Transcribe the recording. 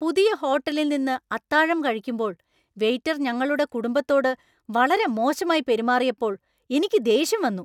പുതിയ ഹോട്ടലില്‍ നിന്ന് അത്താഴം കഴിക്കുമ്പോൾ വെയിറ്റർ ഞങ്ങളുടെ കുടുംബത്തോട് വളരെ മോശമായി പെരുമാറിയപ്പോൾ എനിക്ക് ദേഷ്യം വന്നു.